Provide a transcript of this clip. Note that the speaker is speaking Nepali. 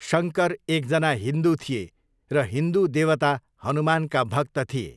शङ्कर एकजना हिन्दु थिए र हिन्दु देवता हनुमानका भक्त थिए।